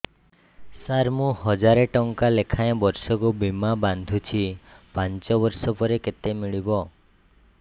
ସାର ମୁଁ ହଜାରେ ଟଂକା ଲେଖାଏଁ ବର୍ଷକୁ ବୀମା ବାଂଧୁଛି ପାଞ୍ଚ ବର୍ଷ ପରେ କେତେ ମିଳିବ